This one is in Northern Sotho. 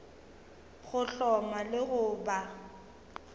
go hloma le go ba